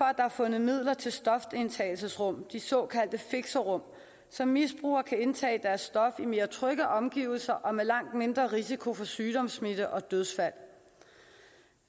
er fundet midler til stofindtagelsesrum de såkaldte fixerum så misbrugere kan indtage deres stof i mere trygge omgivelser og med langt mindre risiko for sygdomssmitte og dødsfald